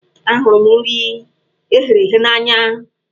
Ahụrụ m nri eghere eghe n'anya.